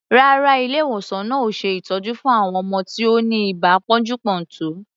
Rárá, ilé-ìwòsan náà ò ṣe ìtọ́jú fún àwọn ọmọ tí ó ní ibà pọ́njú-pọ́ntọ̀.